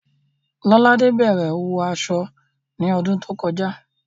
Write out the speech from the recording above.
Lọ́ládé bẹ̀rẹ̀ òwò aṣọ ní ọdún tó kọjá